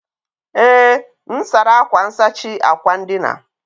Ee, m sara akwa nsachi akwa ndina